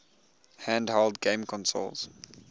handheld game consoles